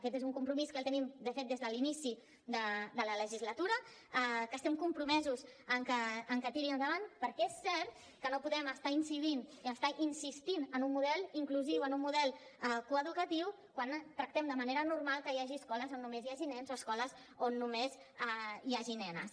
aquest és un compromís que el tenim de fet des de l’inici de la legislatura que estem compromesos que tiri endavant perquè és cert que no podem estar incidint i estar insistint en un model inclusiu en un model coeducatiu quan tractem de manera normal que hi hagi escoles on només hi hagi nens o escoles on només hi hagi nenes